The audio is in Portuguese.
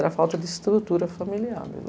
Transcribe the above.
Era a falta de estrutura familiar.